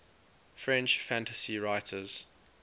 french fantasy writers